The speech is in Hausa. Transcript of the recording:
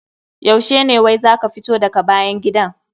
Yaushe ne wai za ka fito daga bayan gidan?